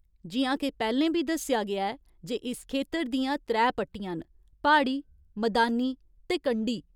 जि'यां के पैह्‌लें बी दस्सेआ गेआ ऐ जे इस खेतर दियां त्रै पट्टियां न प्हाड़ी, मदानी ते कंढी।